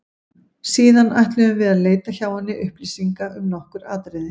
Síðan ætluðum við að leita hjá henni upplýsinga um nokkur atriði.